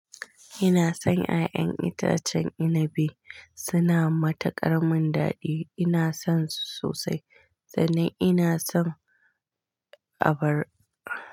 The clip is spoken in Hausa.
Ina son ƴaƴan itacen inabi, suna da matuƙar munɗadi. Ina son su sosai, sannan ina son abar.